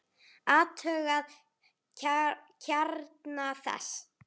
Athugað kjarna þess?